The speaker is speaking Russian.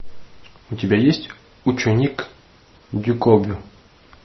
у тебя есть ученик дюкобю